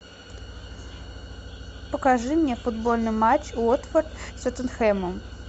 покажи мне футбольный матч уотфорд с тоттенхэмом